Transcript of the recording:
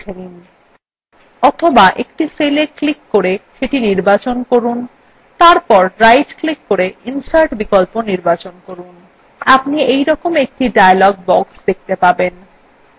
অথবা একটি cella click করে সেটি নির্বাচন করুন তারপর right click করে insert বিকল্প নির্বাচন করুন আপনি এইরকম একটি dialog box দেখতে পাবেন